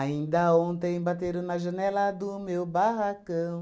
ontem bateram na janela do meu barracão.